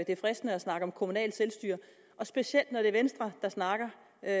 er fristende at snakke om kommunalt selvstyre og specielt når det er venstre der snakker at